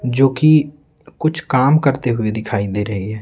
जो कि कुछ काम करते हुए दिखाई दे रही है।